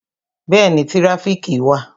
Bẹẹni, tirafiki wà